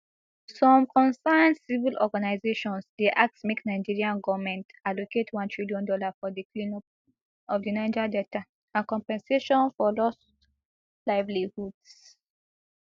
some concerned civil organisations dey ask make nigerian goment allocate one trillion dollar for di cleanup of di niger delta and compensation for lost livelihoods